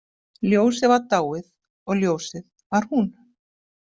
Ljósið var dáið og ljósið var hún.